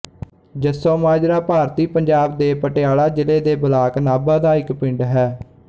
ਜੱਸੋ ਮਾਜਰਾ ਭਾਰਤੀ ਪੰਜਾਬ ਦੇ ਪਟਿਆਲਾ ਜ਼ਿਲ੍ਹੇ ਦੇ ਬਲਾਕ ਨਾਭਾ ਦਾ ਇੱਕ ਪਿੰਡ ਹੈ